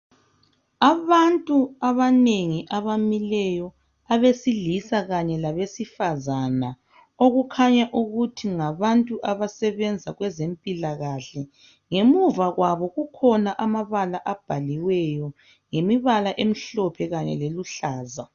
Abantu abanengi abamileyo abesilisa kanye labesifazana okukhanya ukuthi ngabantu abasebenza kwezempilakahle, ngemuva kwabo kukhona amabala abhaliweyo ngemibala emhlophe kanye leluhlaza.